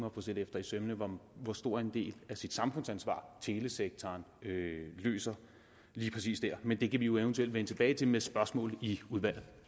at få set efter i sømmene hvor stor en del af sit samfundsansvar telesektoren løser lige præcis dér men det kan vi jo eventuelt vende tilbage til med spørgsmål i udvalget